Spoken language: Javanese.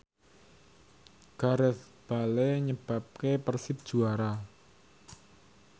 Gareth Bale nyebabke Persib juara